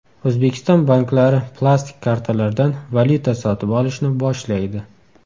O‘zbekiston banklari plastik kartalardan valyuta sotib olishni boshlaydi.